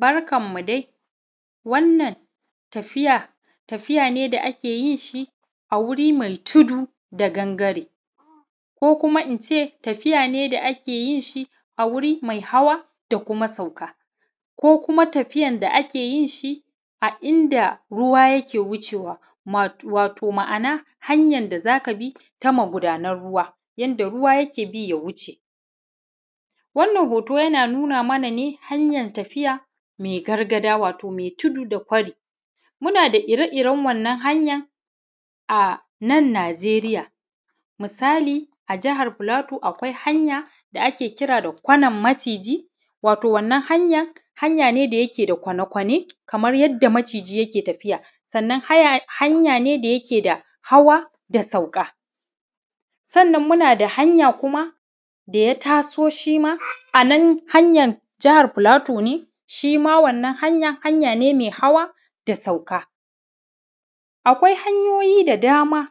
Barkanmu dai wannan tafiya ,tafiya ne Da ake yin shi a wuri mai tudu da gangare ko kuma in ce tafiya ne da ake yin shi a wuri mai hawa da kuma sauka ko kuma tafiyar da ake yin shi a ruwa yake wuce wato ma'ana hanyar da za ka bi ta mugudanan ruwa yadda ruwa yake bi ya wuce. Wannan hoto ana nuna mana ne haryar gargada wato mai tudu da kwari muna da ire-iren wannan hanyar a nan Najeriya misali. A jihar Plateau, akwai hanya da ake kira da kwanar maciji wannan hanya, hanya ne mai kwane-kwane kamar yadda maciji yake tafiya. Sannan hanya ne da ke da hawa da sauka. sannan muna da hanya kuma da ya taso shi ma a nan hanya jihar Plateau ne shi ma wannan hanya, hanya ne mai hawa da sauka. Akwai hanyoyin da dama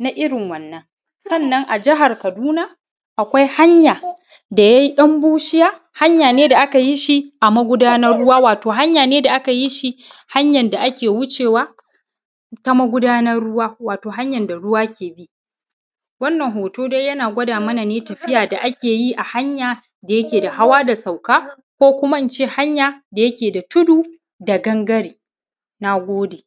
na irin wannan. Sannan a jihar kaduna akwai hanya da yayi ɗan bushiya. Hanya ne da aka yi shi a magudanar ruwa hanyar ne sa aka yi shi hanya ne da ake wucewa ta magudanar ruwa wato hanyar da ruwa ke bi. Wannan hoto dai yana gwada mana ne tafiya da ake yi a hanya da yake da hawa da sauka ko hanya da yake da tudu da gangare. Na gode.